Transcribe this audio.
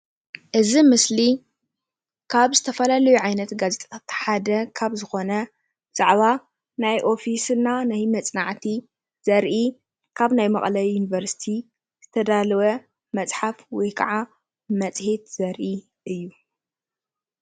እዚ ምስሊ ኻብ ዝተፈላለዩ ዓይነት ጋዜጣታት ሓደ ካብ ዝኮነ ዛዕባ ናይ ኦፊስ እና ናይ መፅናዕቲ ዘርኢ ካብ ናይ መቀለ ዩንቨርሲቲ ዝተዳለወ መፅሓፍ ወይ ከዓ መፅሄት ዘርኢ እዩ።